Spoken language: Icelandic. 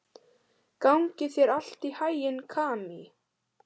Gangi þér allt í haginn, Kamí.